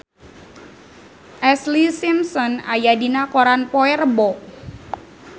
Ashlee Simpson aya dina koran poe Rebo